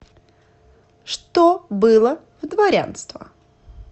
что было в дворянство